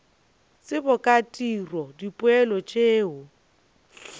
tsebo ka tiro dipoelo tšeo